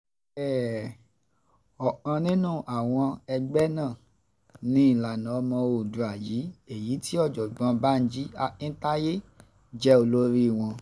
ọ̀kan nínú àwọn ẹgbẹ́ náà ni ìlànà ọmọ oòdùà yìí èyí tí ọ̀jọ̀gbọ́n banji akintaye jẹ́ olórí wọn